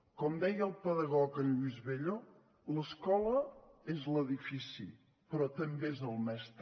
com deia el pedagog lluís bello l’escola és l’edifici però també és el mestre